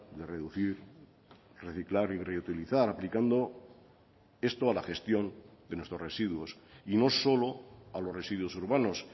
de reducir reciclar y reutilizar aplicando esto a la gestión de nuestros residuos y no solo a los residuos urbanos